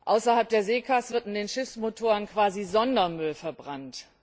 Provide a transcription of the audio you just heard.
Außerhalb der SECA wird in den Schiffsmotoren quasi Sondermüll verbrannt.